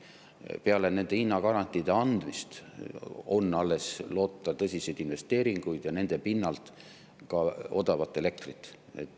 Alles peale nende hinnagarantiide andmist on loota tõsiseid investeeringuid ja nende toel ka odavat elektrit.